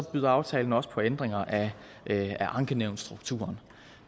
byder aftalen også på ændringer af ankenævnsstrukturen